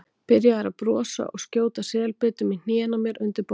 Byrjaður að brosa og skjóta selbitum í hnén á mér undir borðinu.